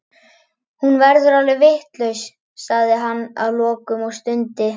Hún verður alveg vitlaus, sagði hann að lokum og stundi.